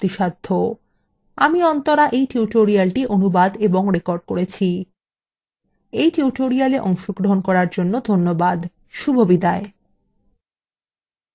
আমি অন্তরা এই টিউটোরিয়ালটি অনুবাদ এবং রেকর্ড করেছি এই টিউটোরিয়ালে অংশগ্রহন করার জন্য ধন্যবাদ শুভবিদায়